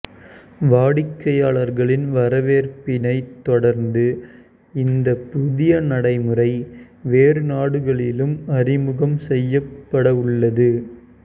வாடிக்கையாளர்களின் வரவேற்பினைத் தொடர்ந்து இந்த புதிய நடைமுறை வேறு நாடுகளிலும் அறிமுகம் செய்யப்படவுள்ளது